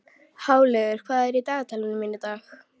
Háleygur, hvað er í dagatalinu mínu í dag?